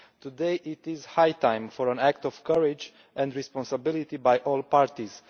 Today it is high time for an act of courage and responsibility by all parties.